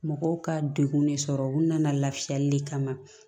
Mɔgɔw ka degun de sɔrɔ u nana lafiyali de kama